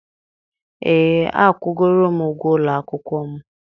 ee, akwụgoro m ụgwọ ụlọ akwụkwọ m.